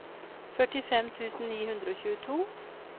førtifem tusen ni hundre og tjueto